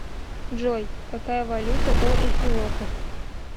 джой какая валюта у эфиопов